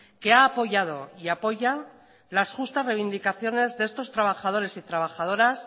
que ha apoyado y apoya las justas reivindicaciones de estos trabajadores y trabajadoras